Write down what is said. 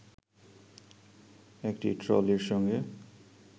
একটি ট্রলির সঙ্গে